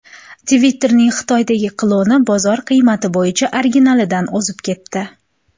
Twitter’ning Xitoydagi kloni bozor qiymati bo‘yicha originalidan o‘zib ketdi.